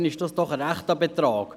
Das ist doch ein rechter Betrag.